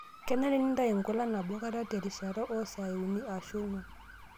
Kenare nintayu nkulak nabokata terishata oo saai uni ashu ong'wan.